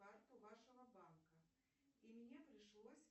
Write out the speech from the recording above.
карту вашего банка и мне пришлось